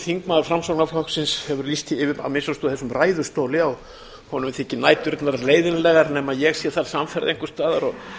þingmaður framsóknarflokksins hefur lýst því yfir að minnsta kosti úr þessum ræðustóli að honum þyki næturnar leiðinlegar nema ég sé þar samferða einhvers staðar og